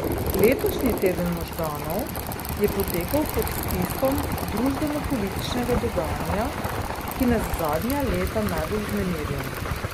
Letošnji Teden možganov je potekal pod vtisom družbenopolitičnega dogajanja, ki nas zadnja leta najbolj vznemirja.